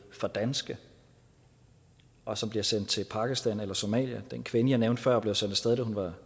for danske og som bliver sendt til pakistan eller somalia den kvinde jeg nævnte før blev sendt af sted da hun var